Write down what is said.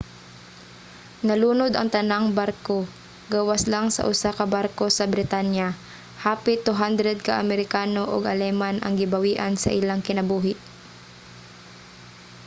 nalunod ang tanang barko gawas lang sa usa ka barko sa britanya. hapit 200 ka amerikano ug aleman ang gibawian sa ilang kinabuhi